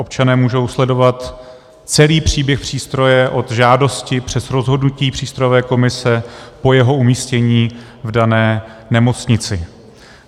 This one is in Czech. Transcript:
Občané můžou sledovat celý příběh přístroje od žádosti přes rozhodnutí přístrojové komise po jeho umístění v dané nemocnici.